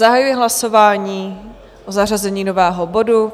Zahajuji hlasování o zařazení nového bodu.